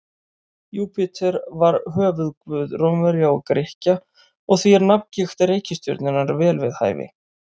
Júpíter var höfuðguð Rómverja og Grikkja og því er nafngift reikistjörnunnar vel við hæfi.